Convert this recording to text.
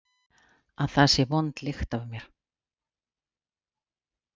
Að það sé vond lykt af mér?